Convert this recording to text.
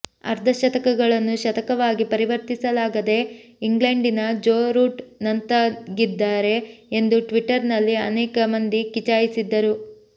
ಅರ್ಧಶತಕಗಳನ್ನು ಶತಕವಾಗಿ ಪರಿವರ್ತಿಸಲಾಗದೆ ಇಂಗ್ಲೆಂಡಿನ ಜೋ ರೂಟ್ ನಂತಾಗಿದ್ದಾರೆ ಎಂದು ಟ್ವಿಟ್ಟರ್ ನಲ್ಲಿ ಅನೇಕ ಮಂದಿ ಕಿಚಾಯಿಸಿದ್ದರು